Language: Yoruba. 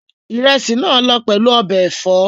Ìrẹsì náà lọ pẹ̀lú ọbẹ̀ ẹ̀fọ́